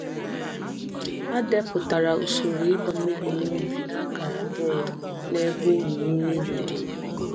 A depụtara usoro ịgba mmiri n’ubi n’akara bọọdụ n’ebe olulu mmiri dị.